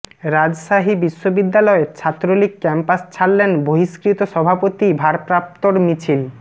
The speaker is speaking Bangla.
রাজশাহী বিশ্ববিদ্যালয় ছাত্রলীগ ক্যাম্পাস ছাড়লেন বহিষ্কৃত সভাপতি ভারপ্রাপ্তর মিছিল